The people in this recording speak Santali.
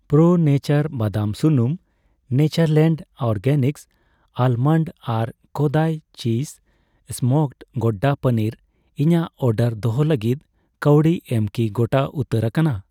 ᱯᱨᱳ ᱱᱮᱪᱟᱨ ᱵᱟᱫᱟᱢ ᱥᱩᱱᱩᱢ, ᱱᱮᱪᱟᱨᱞᱮᱱᱰ ᱚᱨᱜᱮᱱᱤᱠᱥ ᱟᱞᱢᱚᱱᱰ, ᱟᱨ Kodai cheese smoked gouda paneer ᱤᱧᱟᱜ ᱚᱰᱟᱨ ᱫᱚᱦᱚ ᱞᱟᱹᱜᱤᱫ ᱠᱟᱹᱣᱰᱤ ᱮᱢ ᱠᱤ ᱜᱚᱴᱟ ᱩᱛᱟᱹᱨ ᱟᱠᱟᱱᱟ ?